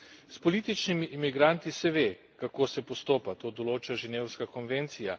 S političnimi imigranti se ve, kako se postopa, to določa ženevska konvencija.